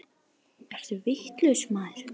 Ertu vitlaus maður?